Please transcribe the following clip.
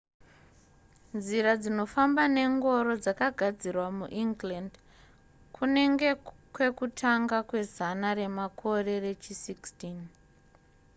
nzira dzinofamba nengoro dzakagadzirwa muengland kunenge kwekutanga kwezana remakore rechi 16